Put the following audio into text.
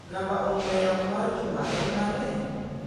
Namba ong'ue yamo mar Juma en manE?